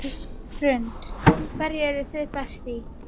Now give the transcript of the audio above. Hrund: Hverju eruð þið best í?